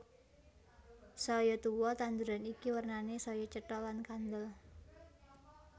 Saya tuwa tanduran iki wernané saya cetha lan kandel